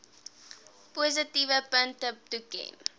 positiewe punte toeken